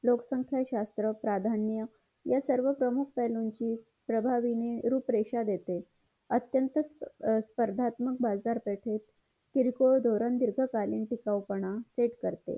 लोकसंख्या प्राधान्य या सर्व प्रमुख पेहेलू ची प्रभावीने रूप रेषा देते अत्यंत स्पर्धात्मक बाजारपेठेत किरकोळ धवरण दिर्गकाळी टिकाऊ पण check करते